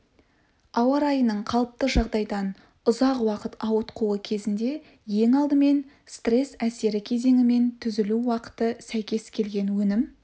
ауа райының қалыпты жағдайдан ұзақ уақыт ауытқуы кезінде ең алдымен стресс әсері кезеңімен түзілу уақыты сәйкес келген өнім